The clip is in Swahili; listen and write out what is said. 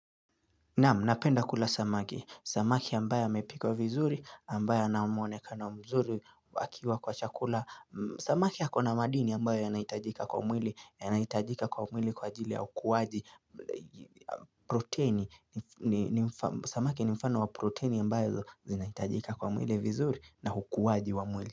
Naamu, napenda kula samaki, samaki ambaye amepikwa vizuri ambaye anamwonekano mzuri akiwa kwa chakula Samaki hako na madini ambayo yanaitajika kwa mwili, yanaitajika kwa mwili kwa ajili ya hukuwaji proteini, samaki ni mfano wa proteini ambayo zinaitajika kwa mwili vizuri na hukuwaji wa mwili.